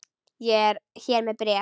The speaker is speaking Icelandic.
Ég er hér með bréf!